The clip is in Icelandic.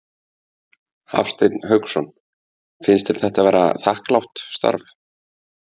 Hafsteinn Hauksson: Finnst þér þetta vera þakklátt starf?